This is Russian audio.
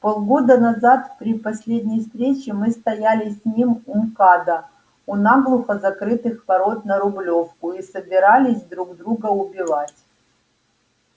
полгода назад при последней встрече мы стояли с ним у мкада у наглухо закрытых ворот на рублёвку и собирались друг друга убивать